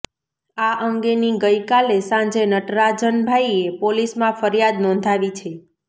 આ અંગેની ગઈકાલે સાંજે નટરાજનભાઈએ પોલીસમાં ફરીયાદ નોંધાવી છે